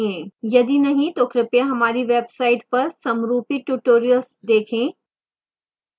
यदि नहीं तो कृपया हमारी website पर समरूपी tutorials देखें